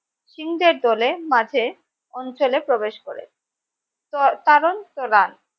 সিং দলের মাঝে অঞ্চলে প্রবেশ করে তো তারণ তরান